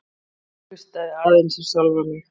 Hlustaði aðeins á sjálfa mig.